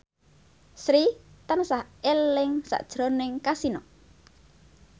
Sri tansah eling sakjroning Kasino